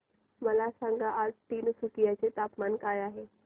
मला सांगा आज तिनसुकिया चे तापमान काय आहे